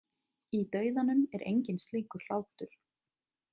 Í dauðanum er enginn slíkur hlátur.